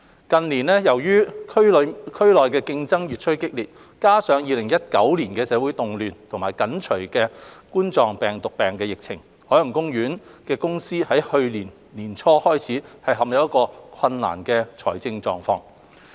近年，由於區內競爭越趨激烈，再加上2019年的社會動亂及緊隨的2019冠狀病毒病疫情，海洋公園公司於去年年初開始陷入困難的財政狀況。